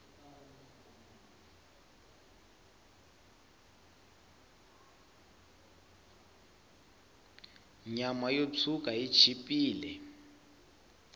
nyama yo tshwuka yi chipile